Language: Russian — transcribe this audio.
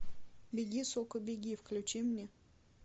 беги сука беги включи мне